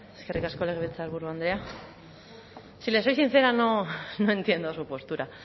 eskerrik asko legebiltzarburu andrea si le soy sincera no entiendo su postura